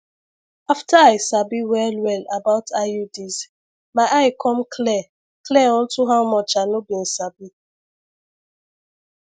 after i sabi well well about iuds my eye come clear clear unto how much i no bin sabi